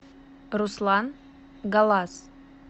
руслан галас